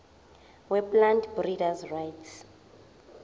weplant breeders rights